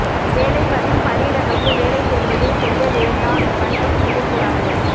வேலை மற்றும் பணியிடங்களுக்கு வேலை தேடுவதை செய்ய வேண்டாம் மற்றும் செய்யக்கூடாது